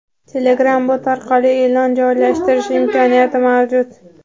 Telegram Bot orqali e’lon joylashtirish imkoniyati mavjud.